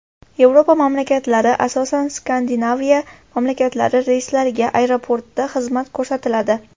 Yevropa mamlakatlari, asosan, Skandinaviya mamlakatlari reyslariga aeroportda xizmat ko‘rsatiladi.